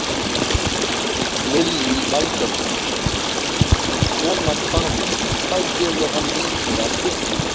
Lillý Valgerður: Svona hvalur, hvað gefur hann mikið af kjöti?